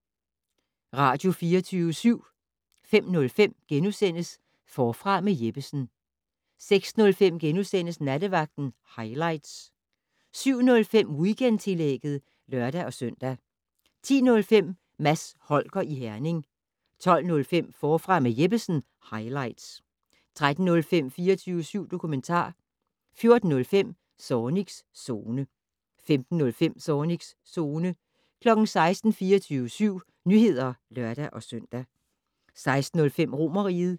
05:05: Forfra med Jeppesen * 06:05: Nattevagten highlights * 07:05: Weekendtillægget (lør-søn) 10:05: Mads Holger i Herning 12:05: Forfra med Jeppesen - highlights 13:05: 24syv dokumentar 14:05: Zornigs Zone 15:05: Zornigs Zone 16:00: 24syv Nyheder (lør-søn) 16:05: Romerriget